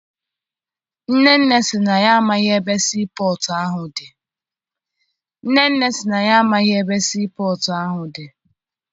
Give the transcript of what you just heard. Nnenne sị na ya amaghị ebe sii pọtụ ahụ dị.